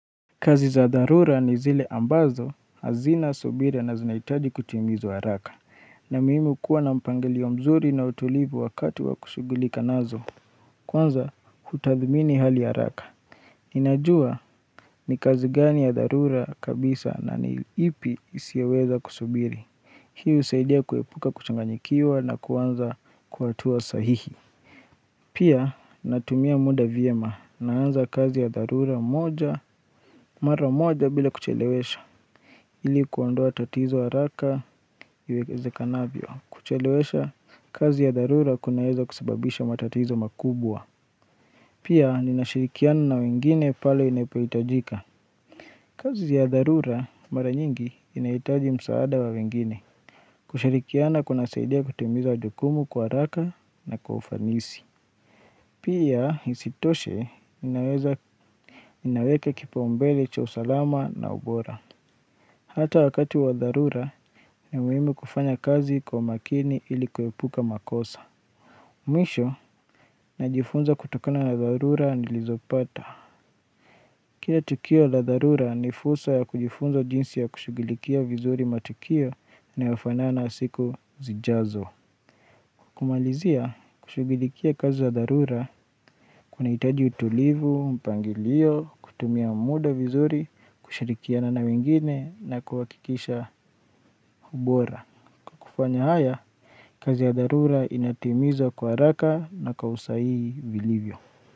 Kazi za dharura ni zile ambazo hazina subira na zinahitaji kutimizwa haraka ni muhimu kuwa na mpangilio mzuri na utulivu wakati wa kushughulika nazo Kwanza hutadhmini hali haraka ninajua ni kazi gani ya dharura kabisa na ni ipi isioweza kusubiri Hii husaidia kuepuka kuchanganyikiwa na kuanza kwa hatua sahihi Pia natumia muda vyema naanza kazi ya dharura moja mara moja bila kuchelewesha ili kuondoa tatizo haraka, iwekezekanavyo, kuchelewesha kazi ya dharura kunaweza kusababisha matatizo makubwa Pia ninashirikiana na wengine pale inapohitajika kazi ya dharura mara nyingi inahitaji msaada wa wengine kushirikiana kunasaidia kutimiza jukumu kwa haraka na kwa ufanisi Pia isitoshe inaweza inaweka kipaumbele cha usalama na ubora Hata wakati wa dharura ni muhimu kufanya kazi kwa makini ili kuepuka makosa. Mwisho, najifunza kutokana na dharura nilizopata. Kila tukio la dharura ni fursa ya kujifunza jinsi ya kushughulikia vizuri matukio inayofanana siku zijazo. Kumalizia, kushughulikia kazi ya dharura, kunahitaji utulivu, mpangilio, kutumia muda vizuri, kushirikiana na wengine na kuhakikisha ubora. Kufanya haya, kazi ya dharura inatimiza kwa haraka na kwa usahihi vilivyo.